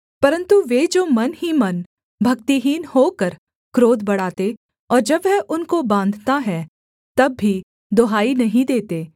परन्तु वे जो मन ही मन भक्तिहीन होकर क्रोध बढ़ाते और जब वह उनको बाँधता है तब भी दुहाई नहीं देते